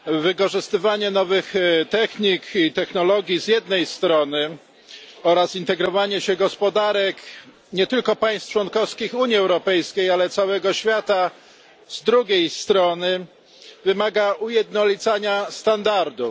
Wykorzystywanie nowych technik i technologii z jednej strony oraz integrowanie się gospodarek nie tylko państw członkowskich Unii Europejskiej, ale całego świata z drugiej strony wymaga ujednolicania standardów.